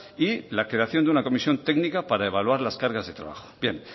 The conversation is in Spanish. y la creación de una comisión técnica para evaluar las cargas de trabajo bien